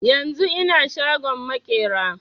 A yanzun ina shagon maƙera